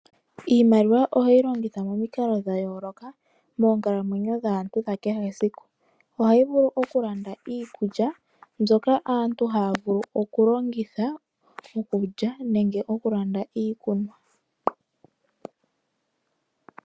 Iimaliwa ohoyi longitha momikalo dhayoloka moonkalamwenyo dhaantu dhakehe esiku. Ohayi vulu oku landa iikulya mbyoka aantu haya vulu oku longitha okulya nenge oku landa iikunwa.